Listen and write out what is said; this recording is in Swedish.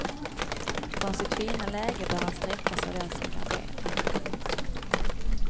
Från sitt fina läge bör han streckas av den som garderar. punkt